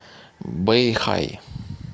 бэйхай